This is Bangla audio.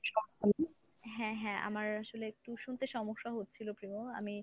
হ্যাঁ হ্যাঁ আমার আসলে একটু শুনতে সমস্যা হচ্ছিল প্রিমো আমি